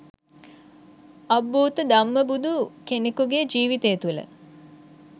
අබ්භූත ධම්මබුදු කෙනකුගේ ජීවිතය තුළ